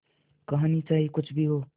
कहानी चाहे कुछ भी हो